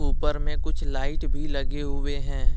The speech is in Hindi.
ऊपर में कुछ लाइट भी लगी हुई हैं।